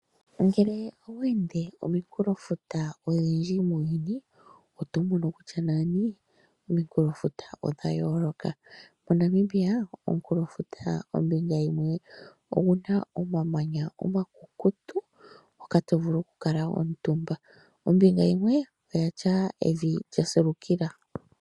Ngele oweende omikulo futa odhindji muuyuni oto mono kutya nani omikulo futa odhayoloka moNamibia omukulofuta ombinga yimwe oguna omamanya omakukutu hoka tovulu oku kala omuntumba ombinga yimwe oyatya evi ndjasilukila.